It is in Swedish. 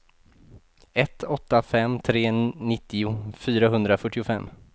ett åtta fem tre nittio fyrahundrafyrtiofem